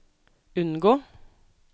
unngå